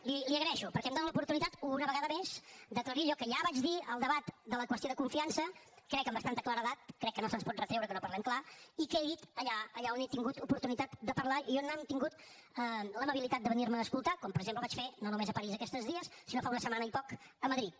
li ho agraeixo perquè em dóna l’oportunitat una vegada més d’aclarir allò que ja vaig dir al debat de la qüestió de confiança crec que amb bastanta claredat crec que no se’ns pot retreure que no parlem clar i que he dit allà on he tingut oportunitat de parlar i on han tingut l’amabilitat de venir me a escoltar com per exemple vaig fer no només a parís aquests tres dies sinó fa una setmana i poc a madrid